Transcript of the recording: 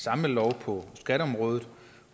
samlelov på skatteområdet